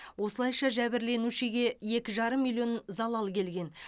осылайша жәбірленушіге екі жарым миллион залал келген